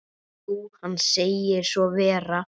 Jú, hann segir svo vera.